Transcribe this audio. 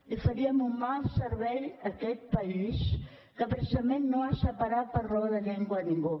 i faríem un mal servei a aquest país que precisament no ha separat per raó de llengua a ningú